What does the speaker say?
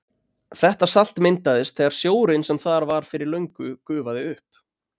Þetta salt myndaðist þegar sjórinn sem þar var fyrir löngu gufaði upp.